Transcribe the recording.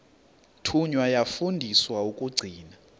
thunywa yafundiswa ukugcina